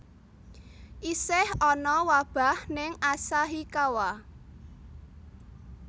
Isih ana wabah ning Asahikawa